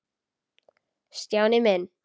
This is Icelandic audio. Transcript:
Stjáni minn.